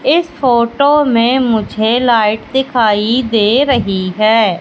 इस फोटो में मुझे लाइट दिखाई दे रही है।